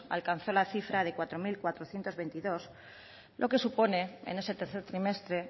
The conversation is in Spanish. alcanzó la cifra de cuatro mil cuatrocientos veintidós lo que supone en ese tercer trimestre